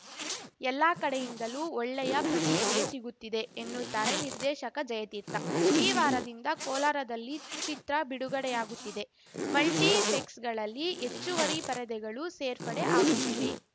ಎಲ್ಲಾ ಕಡೆಯಿಂದಲೂ ಒಳ್ಳೆಯ ಪ್ರತಿಕ್ರಿಯೆ ಸಿಗುತ್ತಿದೆ ಎನ್ನುತ್ತಾರೆ ನಿರ್ದೇಶಕ ಜಯತೀರ್ಥ ಈ ವಾರದಿಂದ ಕೋಲಾರದಲ್ಲಿ ಚಿತ್ರ ಬಿಡುಗಡೆಯಾಗುತ್ತಿದೆ ಮಲ್ಟಿಫೆಕ್ಸ್‌ಗಳಲ್ಲಿ ಹೆಚ್ಚುವರಿ ಪರದೆಗಳು ಸೇರ್ಪಡೆ ಆಗುತ್ತಿವೆ